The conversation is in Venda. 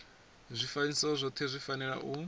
zwifanyiso zwothe zwi fanela u